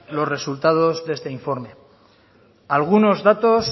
los resultados de este informe algunos datos